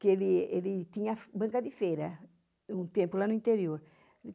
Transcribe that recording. que ele ele tinha banca de feira, um tempo, lá no interior.